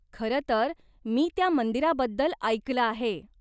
खरंतर मी त्या मंदिराबद्दल ऐकलं आहे.